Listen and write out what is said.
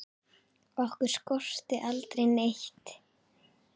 Okkur skorti aldrei neitt.